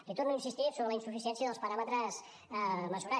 li torno a insistir sobre la insuficiència dels paràmetres mesurats